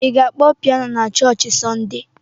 Ị ga-akpọ pianọ na chọọchị na Sọnde.